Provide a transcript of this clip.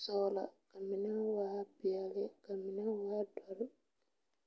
sɔgla ka mine waa peɛle ka a mine waa dɔre.